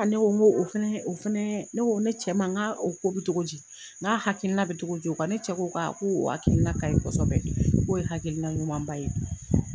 Ne ko n go, o fɛnɛ, o fɛnɛ, ne ko, ne cɛ ma nka o ko bi togo di ? N hakilina bɛ togo di o kan, ne cɛ ko ko hakilina kaɲi kɔsɛbɛ k'o ye hakilina ɲumanba ye,